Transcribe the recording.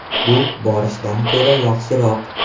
Bu borshchdan ko‘ra yaxshiroq.